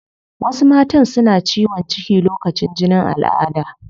Wasu matan suna ciwon ciki lokacin jinin alada